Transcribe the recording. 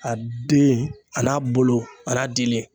A den a n'a bolo a n'a dili